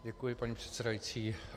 Děkuji, paní předsedající.